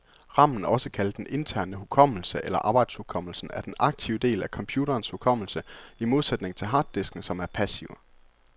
Ramen, også kaldet den interne hukommelse eller arbejdshukommelsen, er den aktive del af computerens hukommelse, i modsætning til harddisken, som er passiv.